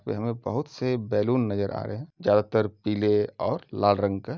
यहाँ बहुत से बैलून नजर आ रहे हैं चारों तरफ पीले और लाल रंग के।